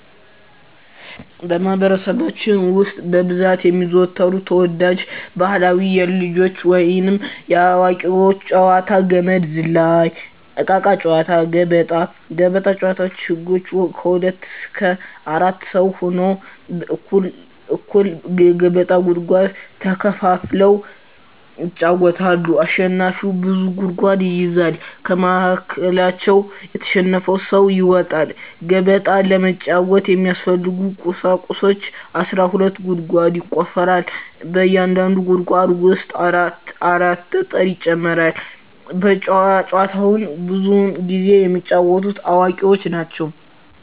በማህበረሰባችን ውስጥ በብዛት የሚዘወተሩ ተወዳጅ ባህላዊ የልጆች ወይንም የአዋቂዎች ጨዋታዎች - ገመድ ዝላይ፣ እቃቃ ጨዎታ፣ ገበጣ። ገበጣ ጨዎታ ህጎች ከሁለት እስከ አራት ሰው ሁነው እኩል እኩል የገበጣ ጉድጓድ ተከፋፍለው ይጫወታሉ አሸናፊው ብዙ ጉድጓዶችን ይይዛል ከመሀከላቸው የተሸነፈው ሰው ይወጣል። ገበጣ ለመጫወት የሚያስፈልጊ ቁሳቁሶች አስራ ሁለት ጉድጓድ ይቆፈራል በእያንዳንዱ ጉድጓድ ውስጥ አራት አራት ጠጠር ይጨመራል። ጨዎቸውን ብዙውን ጊዜ የሚጫወቱት አዋቂዎች ናቸው።